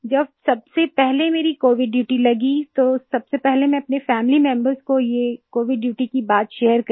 जब सबसे पहले मेरी कोविड ड्यूटी लगी तो सबसे पहले मैं अपने फैमिली मेंबर्स को ये कोविड ड्यूटी की बात शेयर करी